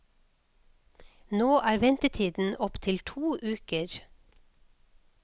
Nå er ventetiden opp til to uker.